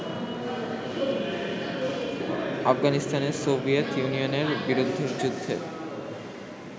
আফগানিস্তানে সোভিয়েত ইউনিয়নের বিরুদ্ধে যুদ্ধে